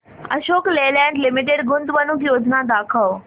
Ashok Leyland limited गुंतवणूक योजना दाखव